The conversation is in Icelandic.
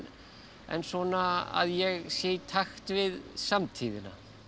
en svona að ég sé í takt við samtíðina